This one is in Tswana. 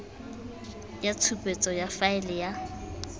ya tshupetso ya faele ya